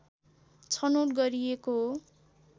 छनौट गरिएको हो